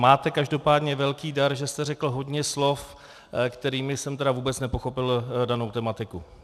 Máte každopádně velký dar, že jste řekl hodně slov, kterými jsem tedy vůbec nepochopil danou tematiku.